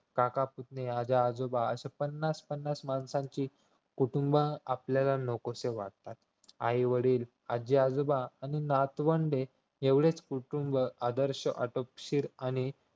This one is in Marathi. काका पुतण्या आजा आजोबा अशी पन्नास पन्नास माणसाची कुटुंब आपल्याला नकोसे वाटतात आई वडील आजीआजोबा आणि नातवंडे एवढेच कुटुंब आदर्श आटोपशीर आणि